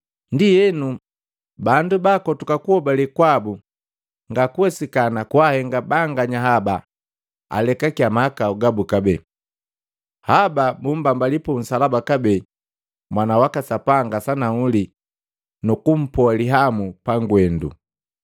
ndienu bakotuka kuhobale kwabu, nga kuwesikana kwahenga banganya haba alekakia mahakau gabu kabee. Haba bummbambali punsalaba kabee Mwana waka Sapanga sanahuli nukumpoa lihamu pangwendu.